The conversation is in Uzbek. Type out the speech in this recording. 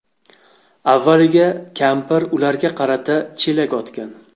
Avvaliga kampir ularga qarata chelak otgan.